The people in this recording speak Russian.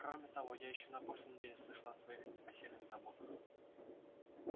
кроме того я ещё на прошлой неделе слышала о твоих непосильных заботах